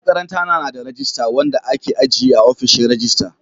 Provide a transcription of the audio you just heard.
Makarantana na da rajista wanda ke ajiye a ofishin rajista.